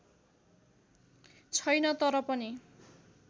छैन तर पनि